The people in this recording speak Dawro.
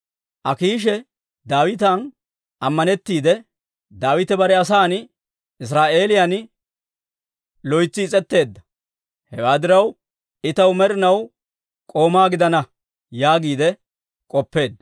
Akiishi Daawitan ammanettiide, «Daawite bare asan, Israa'eelan loytsi is's'etteedda; hewaa diraw, I taw med'inaw k'oomaa gidana» yaagiide k'oppeedda.